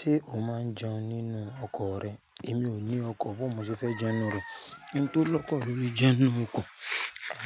Ṣé o máa ń jẹun nínú ọkọ rẹ? Èmi ò ní ọkọ̀, bó mo ṣe fẹ́ jẹun nínú rẹ̀. Ẹni tó lọ́kọ̀ lo le jẹun nínú ọkọ̀.